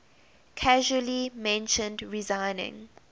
casually mentioned resigning